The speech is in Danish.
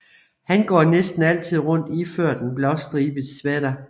Han går næsten altid rundt iført en blåstribet sweater